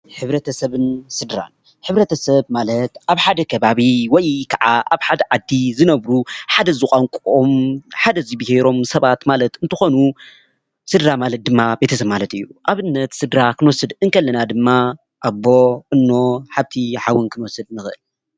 ሕብረተሰብን ስድራን ፡-ሕብረተሰብ ማለት ኣብ ሓደ ከባቢ ወይ ከዓ ኣብ ሓደ ዓዲ ዝነብሩ ሓደ ዝቋነቆኦም ሓደ ዝቢሄሮም ሰባት ማለት እንትኮኑ ስድራ ማለት ድማ ቤተሰብ ማለት እዩ፡፡ ኣብነት ስድራ ክንወስድ እንከለና ድማ ኣቦ፣ እኖ፣ ሓፍቲ፣ ሓውን ክንወስድ ንክእል፡፡